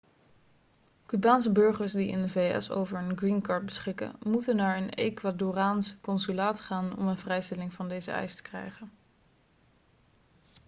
cubaanse burgers die in de vs over een green card beschikken moeten naar een ecuadoraans consulaat gaan om een vrijstelling van deze eis te krijgen